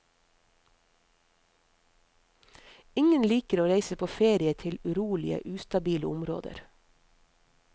Ingen liker å reise på ferie til urolige, ustabile områder.